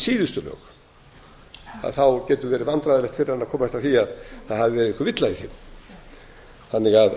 síðustu lög að þá getur verið vandræðalegt fyrir hann að komast að því að það hafi verið einhver villa í þeim þannig að